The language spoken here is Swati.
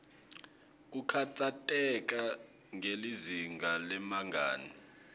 kukhatsateka ngelizinga lebangani